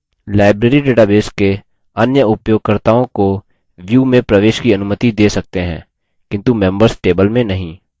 library database के अन्य उपयोगकर्ताओं को view में प्रवेश की अनुमति दे सकते हैं किन्तु members table में नहीं